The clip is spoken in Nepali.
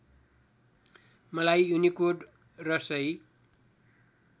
मलाई युनिकोड र सही